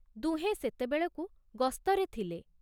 ଦୁହେଁ ସେତେବେଳକୁ ଗସ୍ତରେ ଥିଲେ।